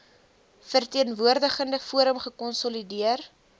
verteenwoordigende forum gekonsolideer